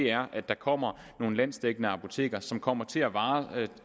er at der kommer nogle landsdækkende apoteker som kommer til at varetage